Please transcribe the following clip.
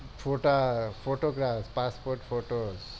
ફોટા passport photopaspot photos